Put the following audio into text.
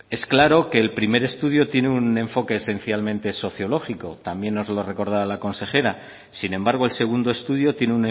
es claro que el primer estudio tiene un enfoque esencialmente sociológico también nos lo recordaba la consejera sin embargo el segundo estudio tiene